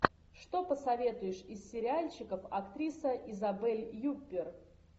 что посоветуешь из сериальчиков актриса изабель юппер